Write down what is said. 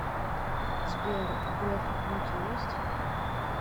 сбер у грефа внуки есть